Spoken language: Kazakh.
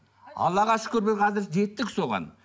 аллаға шүкір біз қазір жеттік соған